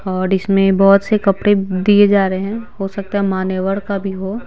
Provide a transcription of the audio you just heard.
और इसमें बहुत से कपड़े दिए जा रहे हैं हो सकता है मानेवर का भी हो।